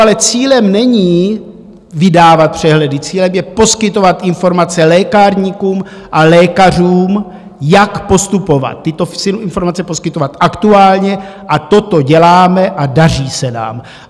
Ale cílem není vydávat přehledy, cílem je poskytovat informace lékárníkům a lékařům, jak postupovat, tyto informace poskytovat aktuálně, a toto děláme a daří se nám.